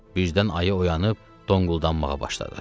Birdən ayı oyanıb donquldanmağa başladı.